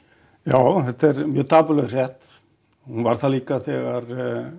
já þetta er mjög dapurleg frétt hún var það líka þegar